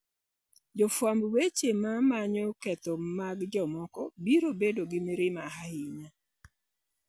Jofwamb weche ma manyo ketho mag jomoko biro bedo gi mirima ahinya.